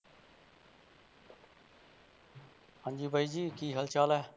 ਹਾਂਜੀ ਬਾਈ ਜੀ ਕੀ ਹਾਲ ਚਾਲ ਹੈ।